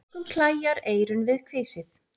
Mörgum klæjar eyrun við kvisið.